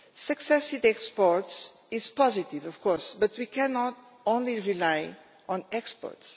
Success in exports is positive, of course, but we cannot only rely on exports.